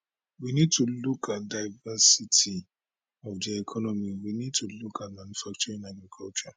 we need to look at diversity of di economy we need to look at manufacturing agriculture